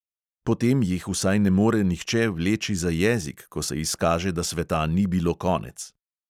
Potem jih vsaj ne more nihče vleči za jezik, ko se izkaže, da sveta ni bilo konec.